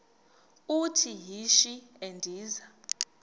uthi yishi endiza